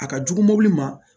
A ka jugu mobili ma